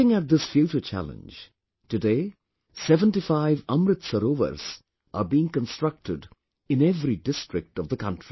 Looking at this future challenge, today 75 Amrit Sarovars are being constructed in every district of the country